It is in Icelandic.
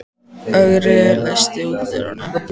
Ögri, læstu útidyrunum.